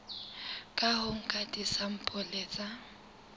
ka ho nka disampole tsa